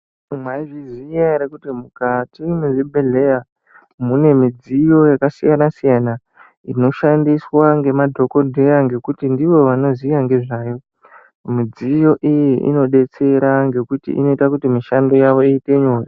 Mwaizviziya ere kuti mukati mwezvibhehleya mune midziyo yakasiyana-siyana inoshandiswa ngemadhokodheya ngekuti ndivo vanoziya ngezvayo .Midziyo iyi inodetsera ngekuti inoita kuti mishando yawo iite nyore.